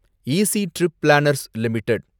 easy trip planners limited